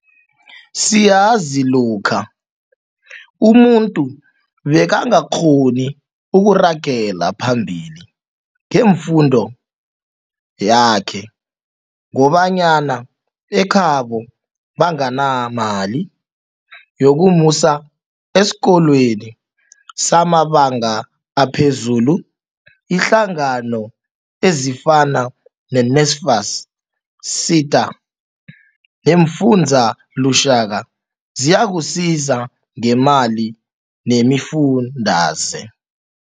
Siyazi lokha umuntu bekangakghoni ukuragela phambili ngefundo yakhe ngobanyana ekhabo banganamali yokumusa eskolweni samabanga aphezulu iinhlangano ezifana ne-NSFAS, SETA, ne-Fundza Lushaka siyakusiza ngemali nemifundaze.